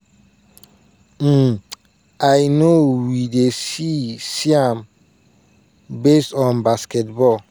um "i know we dey see see am based on basketball